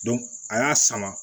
a y'a sama